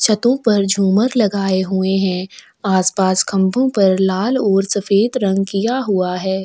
छतो पर झुमर लगाए हुए है आस पास खंबो पर लाल और सफ़ेद रंग किया हुआ है।